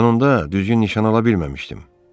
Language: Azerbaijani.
Mən onda düzgün nişan ala bilməmişdim.